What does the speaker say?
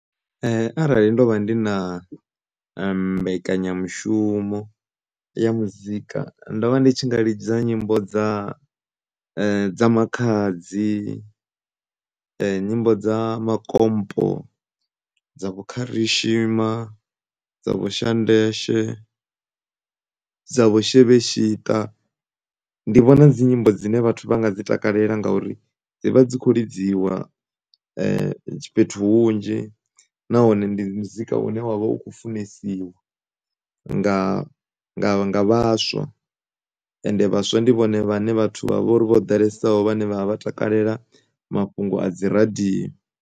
Arali ndo vha ndi na mbekanyamushumo ya muzika ndo vha ndi tshi nga lidza nyimbo dza dza Makhadzi, nyimbo dza Makompo dza vho Khashima, dza vho Shandesh dza vho Shebeshita, ndi vhona dzi nyimbo dzine vhathu vha nga dzi takalela ngauri dzi vha dzi kho lidziwa fhethu hunzhi, nahone ndi muzika une wavha u kho funesiwa nga, nga, nga vhaswa ende vhaswa ndi vhone vhathu vhane vha vhori vho ḓalesaho vhane vha dovha vha takalela mafhungo a dzi radio.